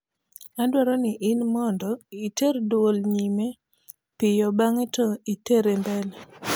adwaro ni in mondo iter dwuol nyime piyo bamge to itere mbere